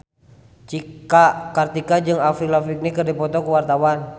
Cika Kartika jeung Avril Lavigne keur dipoto ku wartawan